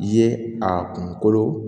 I ye a kunkolo